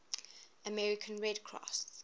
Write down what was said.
american red cross